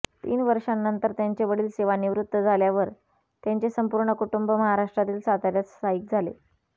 तीन वर्षानंतर त्यांचे वडील सेवानिवृत्त झाल्यावर त्यांचे संपूर्ण कुटुंब महाराष्ट्रातील साताऱ्यात स्थायिक झाले